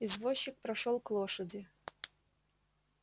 извозчик прошёл к лошади